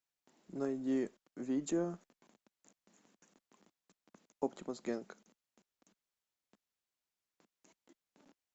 найди видео оптимус генг